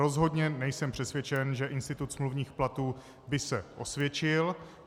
Rozhodně nejsem přesvědčen, že institut smluvních platů by se osvědčil.